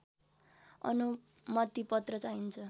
अनुमतिपत्र चाहिन्छ